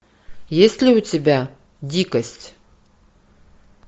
есть ли у тебя дикость